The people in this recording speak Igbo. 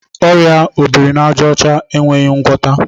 Ọrịa obirinaàjàọcha enweghị ngwọta.